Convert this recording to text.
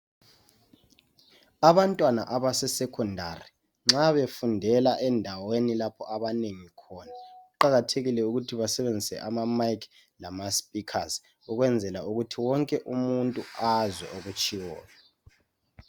abantwana abase secondary nxa befundela endaweni lapho abanengi khona kuqakathekile ukuthi basebenzise ama mic lama speakers ukwenzela ukuthi onke umuntu azwe okutshiwoyo